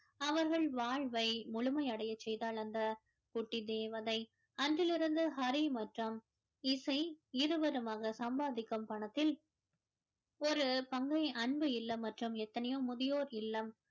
அவர்கள் வாழ்வை முழுமை அடைய செய்தாள் தந்த குட்டி தேவதை அன்றிலிருந்து ஹரி மற்றும் இசை இருவருமாக சம்பாதிக்கும் பணத்தில் ஒரு அன்பு இல்லம் மற்றும் எத்தனையோ முதியோர் இல்லம்